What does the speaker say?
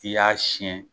I y'a siyɛn